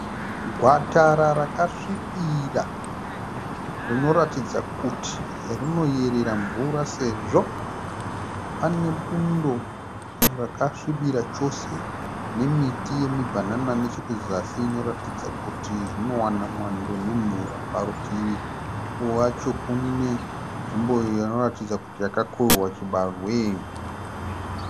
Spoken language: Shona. Gwatara rakasvipira rinoratidza kuti rinoyerera mvura sezvo pane bundo rakasvibira chose nemiti yemibhanana nechekuzasi inoratidza kuti zvinowana mwando nemvura. Parutivi wacho kune nzvimbo iyo inoratidza kuti yakakohwewa chibahwe.